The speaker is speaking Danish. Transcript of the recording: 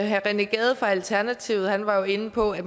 herre rené gade fra alternativet var jo inde på at